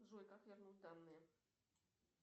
джой как вернуть данные